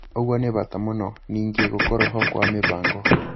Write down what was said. ũguo nĩ bata mũno. Ningĩ, gũkorwo ho kwa mĩbango